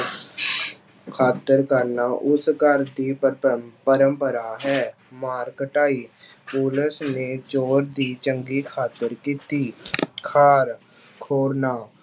ਖਾਤਰ ਕਰਨਾ ਉਸ ਘਰ ਦੀ ਪਰੰਪਰਾ ਹੈ, ਮਾਰ ਕੁਟਾਈ ਪੁਲਿਸ ਨੇ ਚੋਰ ਦੀ ਚੰਗੀ ਖਾਤਰ ਕੀਤੀ ਖਾਰ ਖੋਰਨਾ